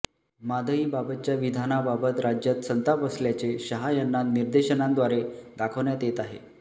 म्हादईबाबतच्या विधानाबाबत राज्यात संताप असल्याचे शहा यांना निदर्शनांद्वारे दाखवण्यात येत आहे